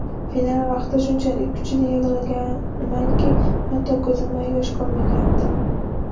Final vaqtida shunchalik kuchli yig‘laganmanki, hatto ko‘zimda yosh qolmagandi.